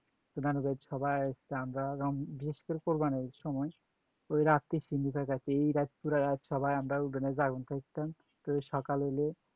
নানুর বাড়িতে সবাই